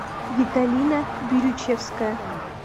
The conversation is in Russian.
виталина бирючевская